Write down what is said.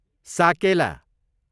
साकेला